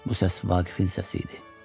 Bu səs Vaqifin səsi idi.